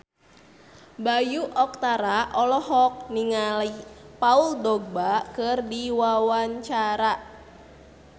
Bayu Octara olohok ningali Paul Dogba keur diwawancara